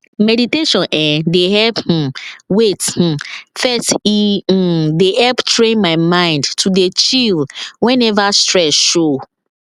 meditation[um]dey help um wait um first e um dey help train my mind to dey chill whenever stress show